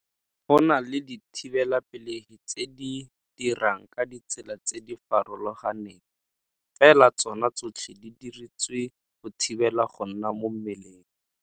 Go na le dithibelapelegi tse di dirang ka ditsela tse di farologaneng, fela tsone tsotlhe di diretswe go thibela go nna mo mmeleng.